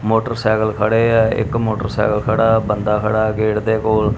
Motorcycle ਖੜੇ ਆ ਇੱਕ ਮੋਟਰਸਾਈਕਲ ਖੜਾ ਆ ਬੰਦਾ ਖੜਾ ਗੇਟ ਦੇ ਕੋਲ।